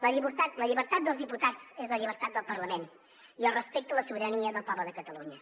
la llibertat dels diputats és la llibertat del parlament i el respecte a la sobirania del poble de catalunya